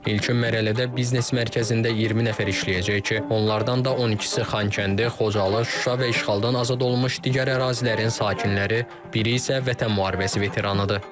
İlkin mərhələdə biznes mərkəzində 20 nəfər işləyəcək ki, onlardan da 12-si Xankəndi, Xocalı, Şuşa və işğaldan azad olunmuş digər ərazilərin sakini, biri isə Vətən müharibəsi veteranıdır.